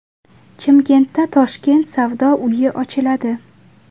Chimkentda Toshkent savdo uyi ochiladi.